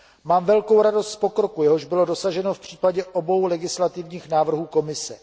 Mám velkou radost z pokroku, jehož bylo dosaženo v případě obou legislativních návrhů Komise.